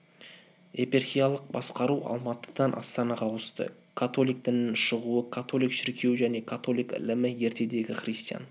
епархиялық басқару алматыдан астанаға ауысты католик дінінің шығуы католик шіркеуі және католик ілімі ертедегі христиан